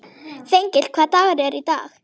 Þengill, hvaða dagur er í dag?